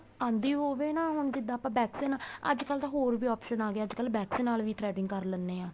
ਆਂਦੀ ਹੋਵੇ ਨਾ ਹੁਣ ਜਿੱਦਾਂ ਆਪਾਂ wax ਦੇ ਨਾਲ ਅੱਜ ਕੱਲ ਹੋਰ ਵੀ option ਆ ਗਿਆ ਅੱਜਕਲ wax ਦੇ ਨਾਲ ਵੀ threading ਕਰ ਲੈਣੇ ਆ